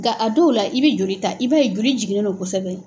Nka a dɔw la, i bɛ joli ta, i bɛ a ye joli jiginen don kosɛbɛ.